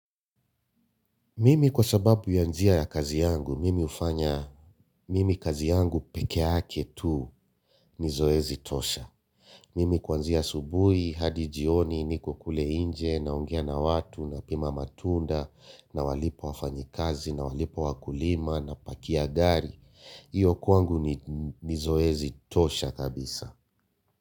Mimi kwa sababu ya njia ya kazi yangu, mimi hufanya, mimi kazi yangu peke yake tu ni zoezi tosha. Mimi kuanzia asubuhi hadi jioni niko kule nje naongea na watu nasema matunda nawalipa wafanyikazi nawalipa wakulipa napakia gari hiyo kwangu ni zoezi tosha kabisa.